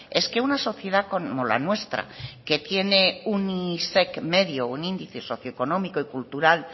es que una sociedad como la nuestra que tiene un índice socioeconómico y cultural